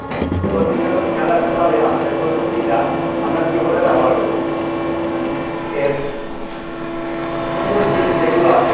প্রতিনিয়ত খেয়াল রাখতে হবে আমরা যে প্রযুক্তিটা আমরা কিভাবে ব্যবহার করছি। এর সুন্দর দিক যেগুলা আছে